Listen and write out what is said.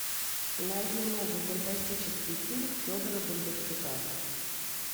найди новый фантастический фильм федора бондарчука